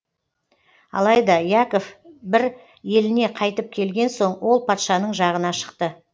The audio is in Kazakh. алайда яков бір еліне қайтып келген соң ол патшаның жағына шықты